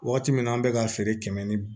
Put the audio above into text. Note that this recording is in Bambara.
Waati min na an bɛ ka feere kɛmɛ ni